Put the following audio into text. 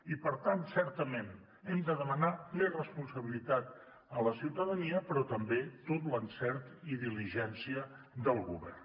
i per tant certament hem de demanar més responsabilitat a la ciutadania però també tot l’encert i diligència del govern